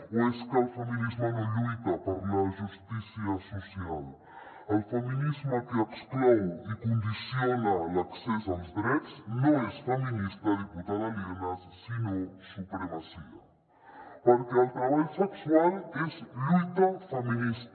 o és que el feminisme no lluita per la justícia social el feminisme que exclou i condiciona l’accés als drets no és feminista diputada lienas sinó supremacia perquè el treball sexual és lluita feminista